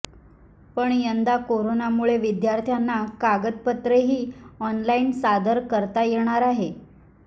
पण यंदा कोरोनामुळे विद्यार्थ्यांना कागदपत्रेही ऑनलाईन सादर करता येणार आहेत